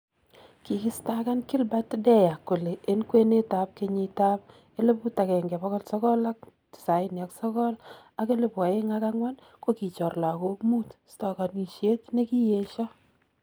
Kikistaakan Gilbert Deya kole en kwenetab kenyiitab 1999 ak 2004 kokichoor lakook muut stakaanishet nekiyeshaa